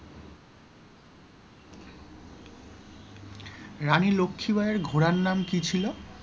রানী লক্ষীবাঈ এর ঘোড়ার নাম কি ছিল?